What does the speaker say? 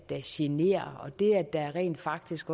der generer og det at der rent faktisk